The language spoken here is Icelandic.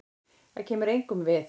Það kemur engum við.